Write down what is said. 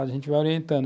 A gente vai orientando.